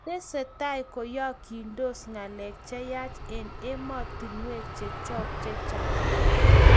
Tesetai koyaagistos ngalek cheyach eng emotinwek chechok chechang